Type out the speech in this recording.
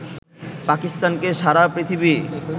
পাকিস্তানকে সারা পৃথিবী